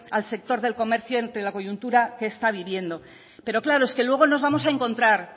al sector del comercio ante la coyuntura que está viviendo pero claro es que luego no vamos a encontrar